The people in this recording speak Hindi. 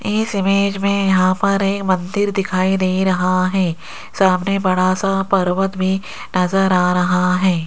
इस इमेज में यहां पर एक मंदिर दिखाई दे रहा है सामने बड़ा सा पर्वत भी नजर आ रहा है।